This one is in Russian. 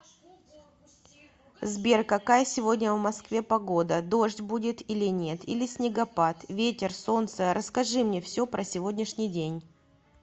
сбер какая сегодня в москве погода дождь будет или нет или снегопад ветер солнце расскажи мне все про сегодняшний день